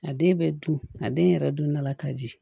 A den bɛ dun a den yɛrɛ dun nana ka ji